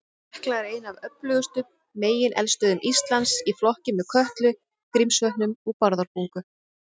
Hekla er ein af öflugustu megineldstöðvum Íslands, í flokki með Kötlu, Grímsvötnum og Bárðarbungu.